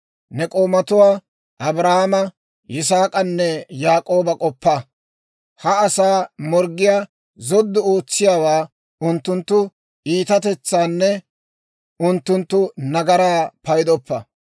Ne k'oomatuwaa, Abrahaama Yisaak'anne Yaak'ooba k'oppa; ha asaa morggiyaa zoddu ootsiyaawaa, unttunttu iitatetsaanne unttunttu nagaraa paydoppa.